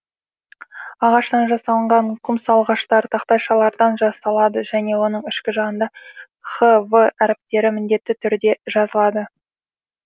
ағаштан жасалынған құмсалғыштар тақтайшалардан жасалады және оның ішкі жағында хв әріптері міндетті түрде жазылады